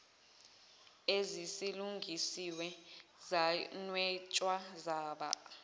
esezilungisiwe zanwetshwa zaba